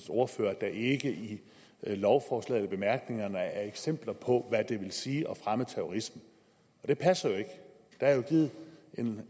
ordfører at der ikke i lovforslagets bemærkninger er eksempler på hvad det vil sige at fremme terrorisme og det passer jo ikke der er givet